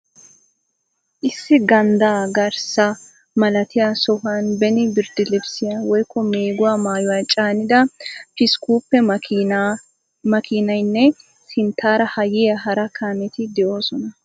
Issi ganddaa garssa malatiya sohuwaan beni birddilibisiya woykko meeguwaa maayuwa caanida pick upe makkiiniyanne sintaara ha yiya hara kaameti de'oosona.